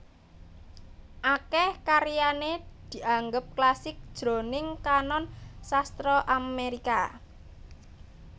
Akèh karyané dianggep klasik jroning kanon sastra Amérika